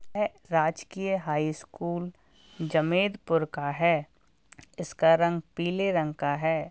यह राजकीय हाईस्कूल जमेदपुर का है इसका रंग पीले रंग का है।